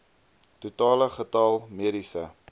totale getal mediese